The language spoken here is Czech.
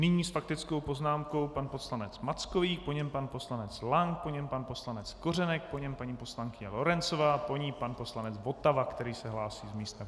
Nyní s faktickou poznámkou pan poslanec Mackovík, po něm pan poslanec Lank, po něm pan poslanec Kořenek, po něm paní poslankyně Lorencová, po ní pan poslanec Votava, který se hlásí z místa.